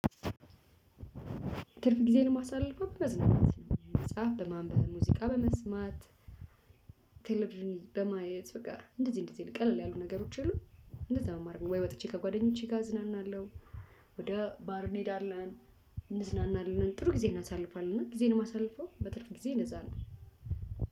ትርፍ ጊዜን ማሳለፍ ነው በመዝናናት መጽሐፍ በማንበብ ሙዚቃ በመስማት። ቴሌቭዢን በማየት በቃ እንደዚህ እንደዚህ ቀለል ያሉ ነገሮች የሉም። እንደዛ ነው ማደርገው። ወይ ወጥቼ ከጓደኞቼ ጋር አዝናናለሁ። ወደ ባር እንሄዳለን። እንዝናናለን ጥሩ ጊዜ እናሳልፋለን። እና ጊዜን የማሳልፈው በትርፍ ጊዜዬ እንደዛ ነው